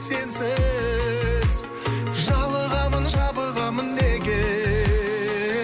сенсіз жалығамын жабығамын неге